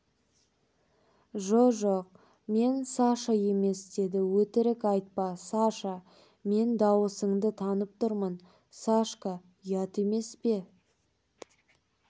жоқ-жоқ мен саша емес деді өтірік айтпа саша мен дауысыңды танып тұрмын сашка ұят емес пе